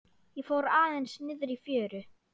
Ég fór aðeins niðrí fjöru.